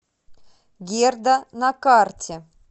герда на карте